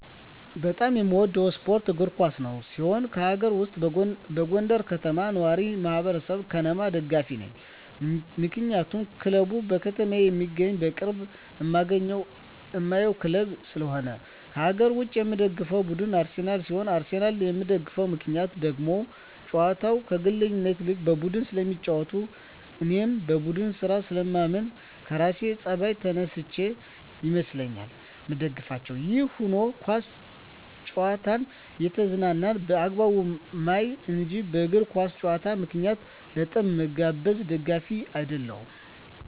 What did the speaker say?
በጣም የምወደው ስፓርት እግር ኳስ ሲሆን ከአገር ውስጥ የጎንደር ከተማ ነዋሪወች ማህበር(ከነማ) ደጋፊ ነኝ ምክንያቱም ክለቡ በከተማየ የሚገኝና በቅርብ እማገኘውና እማየው ክለብ ስለሆነ። ከአገር ውጭ የምደግፈው ቡድን አርሰናል ሲሆን አርሰናልን የምደግፍበት ምክንያት ደግሞ ጨዋታቸው ከግለኝነት ይልቅ በቡድን ስለሚጫወቱ እኔም በቡድን ስራ ስለማምን ከራሴ ጸባይ ተነስቸ ይመስለኛል ምደግፋቸው። ይህም ሁኖ ኳስ ጨዋታን እየተዝናናው በአግባቡ ማይ እንጅ በእግር ኳስ ጨዋታ ምክንያት ለጠብ ምጋበዝ ደጋፊ አደለሁም።